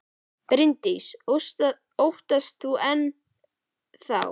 Bryndís: Óttast þú hann enn þá?